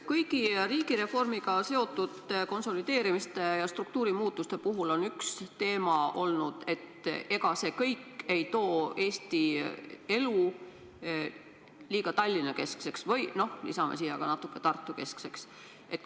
Kõigi riigireformiga seotud konsolideerimiste ja struktuurimuutuste puhul on üks teema olnud see, et ega see kõik ei muuda Eesti elu liiga Tallinna-keskseks või natuke ka Tartu-keskseks.